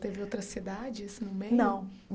Teve outras cidades no meio? Não